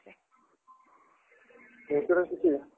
insurance विषयी?